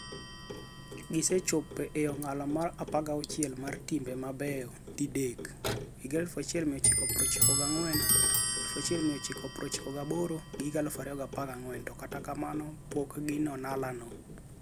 Gisechopo e ong'ala mar 16 mar timbe mabeyo didek - 1994, 1998 gi 2014 - to kata kamano pokgi on'ala no.